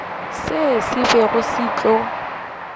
seo se bego se tlo